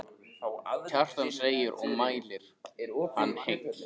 Kjartan segir og mæli hann heill.